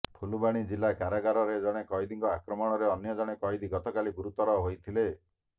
ଫୁଲବାଣୀ ଜିଲ୍ଲା କାରାଗାରରେ ଜଣେ କଏଦୀଙ୍କ ଆକ୍ରମଣରେ ଅନ୍ୟ ଜଣେ କଏଦୀ ଗତକାଲି ଗୁରୁତର ହୋଇଥିଲେ